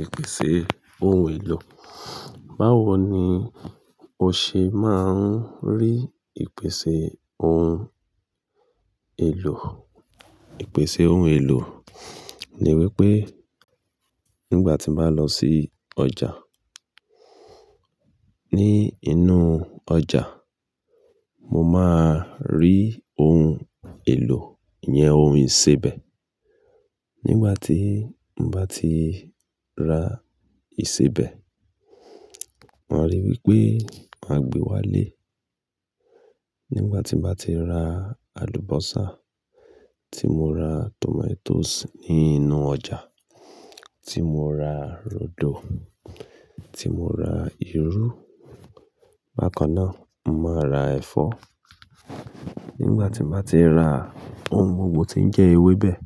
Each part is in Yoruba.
Ìpèsè ohun èlò. Báwo ni o ṣe máa ń rí ìpèsè ohun èlò? Ìpèsè ohun èlò ni wípé nígbà tí mo bá lọ sí ọjà, ní inú ọjà, mo máa rí ohun èlò ìyẹn ohun ìsebẹ̀. Nígbà tí mo bá ti ra ìsebẹ̀, màá ri wípé màá gbe wá lé. Nígbà tí mo bá ti ra àlùbọ́sà, tí mo ra tòmátòsì ní inú ọjà, tí mo ra rodo, tí mo ra irú, bákannáà, mo máa ra ẹ̀fọ́. Nígbà tí mo bá ti ra ohun gbogbo tí ń jẹ́ ewébẹ̀,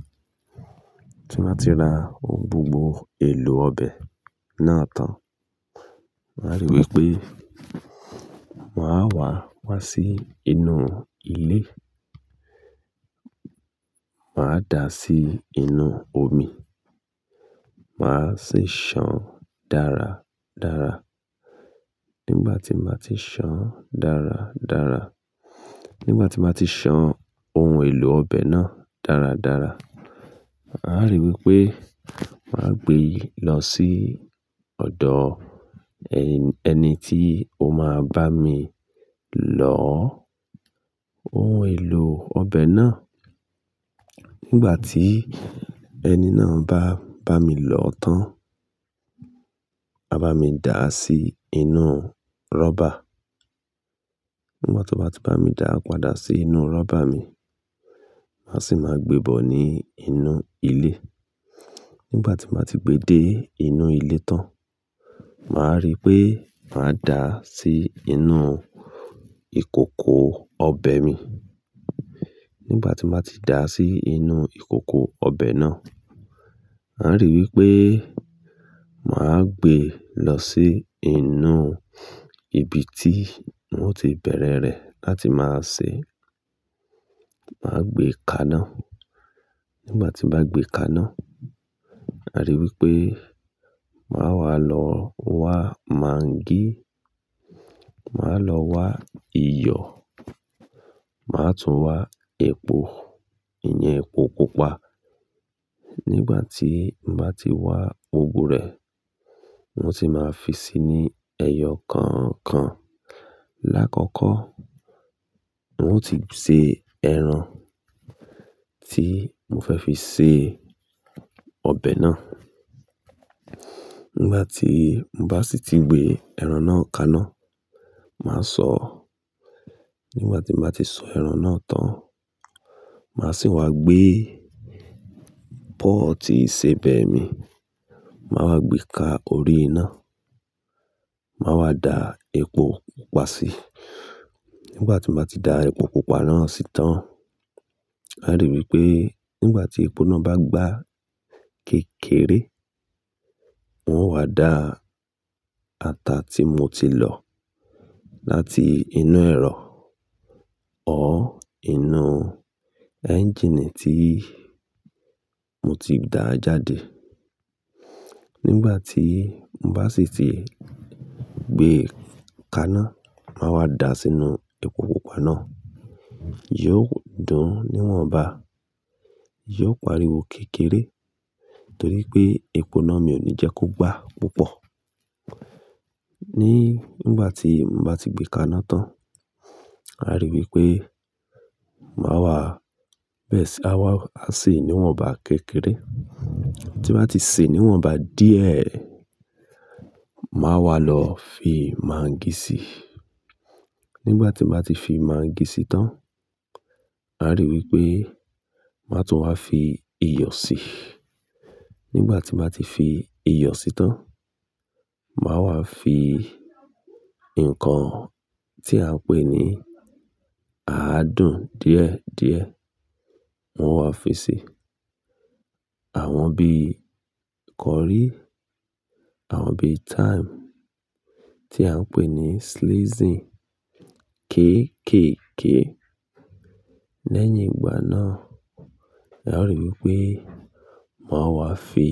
tí mo bá ti ra ohun gbogbo èlò ọbẹ̀ náà tán, màá ri wípé màá wàá, wá sí inú ilé. Màá dà á sí inú omi. Màá sì ṣà án dára dára. Nígbà tí mo bá ti ṣàn án dára dára, nígbà tí mo bá ti ṣan ohun èlò ọbẹ̀ náà dára dára, màá ri wípé màá gbe lọ sí ọ̀dọ̀ ẹni tí ó máa bá mi lọ̀ọ́ ohun èlò ọbẹ̀ náà. Nígbà tí ẹni náà bá bá mi lọ̀ọ́ tán, á bá mi dà á sí inúu rọ́bà. Nígbà tí wọ́n bá ti bá mi da padà sí inúu rọ́bà mi, màá sì máa gbe bọ̀ ní inú ilé. Nígbà tí nbá ti gbe dé inú ilé tán, màá ri pé màá dà á sí inú ìkòkò ọbẹ̀ mi. Nígbà tí nbá ti dà á sí inú ìkòkò ọbẹ̀ náà, màá ri wípé màá gbe lọ sí inú ibi tí wọn ó ti bẹ̀rẹ rẹ̀ láti máa sè é. Màá gbe kaná. Nígbà tí mo bá gbe kaná, màá ri wípé màá wá lọ wá mangí, màá lọ wá iyọ̀, màá tún wá epo, ìyẹn epo pupa. Nígbà tí mo bá ti wá gbogbo rẹ̀, n ó sì máa fi si ní ẹyọ kọ̀ọ̀kan. Láàkọ́kọ́, wọn ó ti se ẹran tí mo fẹ́ fi se ọbẹ̀ náà. Nígbà tí mo bá sì ti gbé ẹran náà kaná, màá sọ̀ọ́. Nígbà tí nbá ti sọ ẹran náà tán, màá sì wá gbé pọ́ọ̀tì ìsebẹ̀ mi. Màá wá gbe ka orí iná. Màá wá da epo pupa sí i. Nígbà tí nbá ti da epo pupa náà sí i tán, màá ri wípé nígbà tí epo náà bá gbá kékeré, n ó wá da ata tí mo ti lọ̀ láti inú ẹ̀rọ or inú ẹ́ńjìnì tí mo ti dàá jáde. Nígbà tí mo bá sì ti gbe kaná, màá wá dàá sínú epo pupa náà. Yí ó dùún níwọ̀nba, yóò pariwo kékeré torí pé epo náà mi ò ní jẹ́ kó gbá púpọ̀. Ní nígbà tí mo bá ti gbe kaná tán, màá ri wípé màá wá, bẹ̀ẹ̀ sí, á wá sè níwọ̀nba kékeré. Tí nbá ti sè é níwọ̀nba díẹ̀, màá wá lọ fi mangí sii. Nígbà tí màá ti fi máńgì sí i tán, màá rí wípé màá tún wá fi iyọ̀ sí i. Nígbà tí nbá ti fi iyọ̀ si tán, màá wá fi nǹkan tí à ń pè ní àádùn díẹ̀ díẹ̀, n ó wàá fi si. Àwọn bí kọrí, àwọn bí thyme tí à ń pè ní seasoning kéékèèké. Lẹ́yìn ìgbà náà, màá ri wípé màá wá fi.